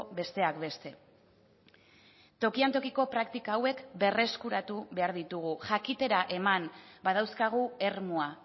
besteak beste tokian tokiko praktika hauek berreskuratu behar ditugu jakitera eman badauzkagu ermua